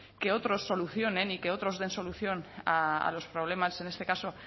que otros solucionen y que otros den solución a los problemas en este caso